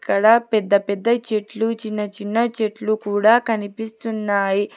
అక్కడ పెద్ద పెద్ద చెట్లు చిన్నచిన్న చెట్లు కూడా కనిపిస్తున్నాయి.